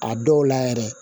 A dɔw la yɛrɛ